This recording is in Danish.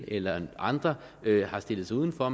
eller andre har stillet sig udenfor